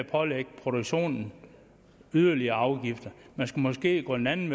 pålægge produktionen yderligere afgifter man skulle måske gå en anden